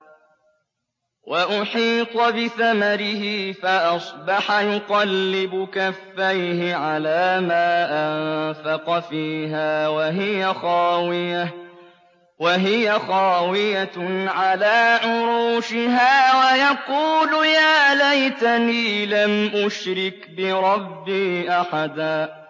وَأُحِيطَ بِثَمَرِهِ فَأَصْبَحَ يُقَلِّبُ كَفَّيْهِ عَلَىٰ مَا أَنفَقَ فِيهَا وَهِيَ خَاوِيَةٌ عَلَىٰ عُرُوشِهَا وَيَقُولُ يَا لَيْتَنِي لَمْ أُشْرِكْ بِرَبِّي أَحَدًا